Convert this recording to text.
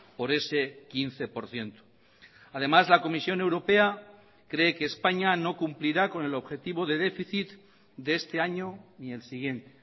por ese quince por ciento además la comisión europea cree que españa no cumplirá con el objetivo de déficit de este año ni el siguiente